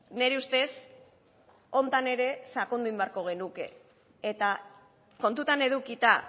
nire ustez honetan ere sakondu egin beharko genuke eta kontutan edukita